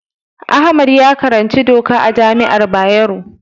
Ahmad ya karanci doka a jami'ar Bayero.